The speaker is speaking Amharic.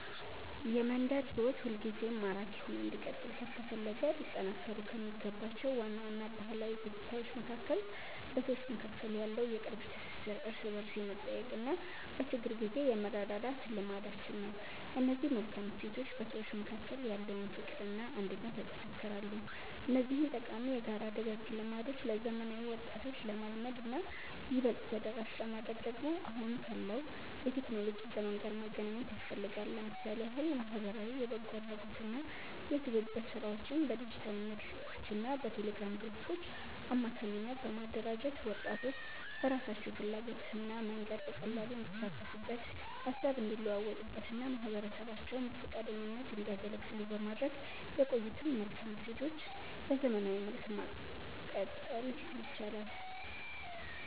የመንደር ሕይወት ሁልጊዜም ማራኪ ሆኖ እንዲቀጥል ከተፈለገ ሊጠናከሩ ከሚገባቸው ዋና ዋና ባህላዊ ገጽታዎች መካከል በሰዎች መካከል ያለው የቅርብ ትሥሥር፣ እርስ በርስ የመጠያየቅና በችግር ጊዜ የመረዳዳት ልማዳችን ነው። እነዚህ መልካም እሴቶች በሰዎች መካከል ያለውን ፍቅርና አንድነት ያጠነክራሉ። እነዚህን ጠቃሚ የጋራ ደጋግ ልማዶች ለዘመናዊ ወጣቶች ለማልመድና ይበልጥ ተደራሽ ለማድረግ ደግሞ አሁን ካለው የቴክኖሎጂ ዘመን ጋር ማገናኘት ያስፈልጋል። ለምሳሌ ያህል ማኅበራዊ የበጎ አድራጎትና የትብብር ሥራዎችን በዲጂታል መድረኮችና በቴሌግራም ግሩፖች አማካኝነት በማደራጀት፣ ወጣቶች በራሳቸው ፍላጎትና መንገድ በቀላሉ እንዲሳተፉበት፣ ሃሳብ እንዲለዋወጡበትና ማኅበረሰባቸውን በፈቃደኝነት እንዲያገለግሉ በማድረግ የቆዩትን መልካም እሴቶች በዘመናዊ መልክ ማቀጠል ይቻላል።